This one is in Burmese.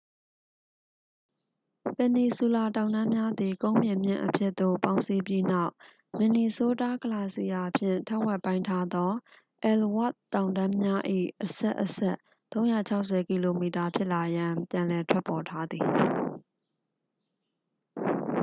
ပင်နီဆူလာတောင်တန်းများသည် ကုန်းပြင်မြင့်အဖြစ်သို့ ပေါင်းစည်းပြီးနောက် မင်နီဆိုးတား ဂလာစီယာဖြင့် ထက်ဝက်ပိုင်းထားသော အဲလ်ဝါ့သ်တောင်တန်းများ၏ အဆက်အဆက် 360 ကီလိုမီတာ ဖြစ်လာရန် ပြန်လည်ထွက်ပေါ်ထာသည်